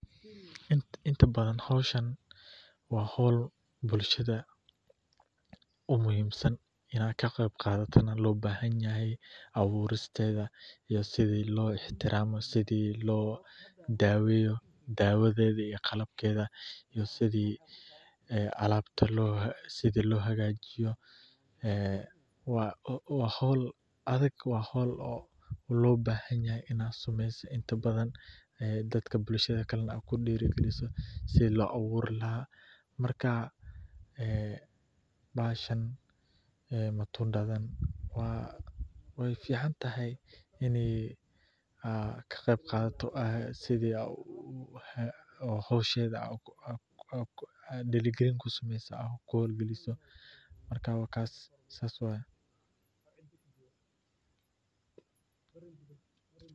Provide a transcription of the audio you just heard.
Inta badan howshan waa howl bulshada muhiim u ah, abuuristeeda iyo sida loo daweeyo iyo sida loo hagajiya, waa howl adag, in bulshada lagu diiri galiyo sida loo aburi lahaa, waa muhiim inaad ka qeyb qaadato.